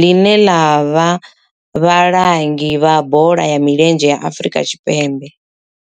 line la vha vhalangi vha bola ya milenzhe Afrika Tshipembe.